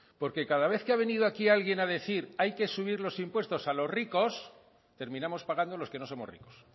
porque cada vez que ha venido aquí alguien a decir hay que subir los impuestos a los ricos terminamos pagando los que no somos ricos